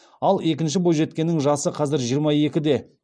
ал екінші бойжеткеннің жасы қазір жиырма екіде